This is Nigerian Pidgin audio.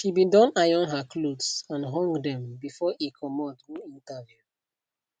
she be don iron her clothes and hung dem before e comot go interview